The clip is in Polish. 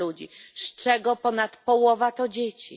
ludzi, z czego ponad połowa to dzieci.